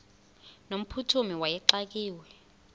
no mphuthumi wayexakiwe